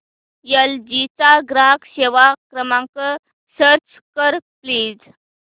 L G चा ग्राहक सेवा क्रमांक सर्च कर प्लीज